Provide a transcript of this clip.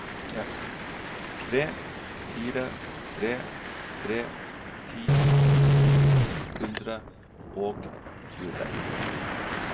tre fire tre tre ti to hundre og tjueseks